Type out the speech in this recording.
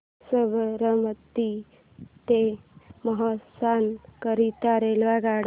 साबरमती ते मेहसाणा करीता रेल्वेगाड्या